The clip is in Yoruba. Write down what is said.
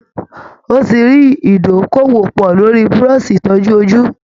Ó ti rí ìdókòwò pọ̀ lórí búrọ́ọ̀ṣì ìtọ́jú ojú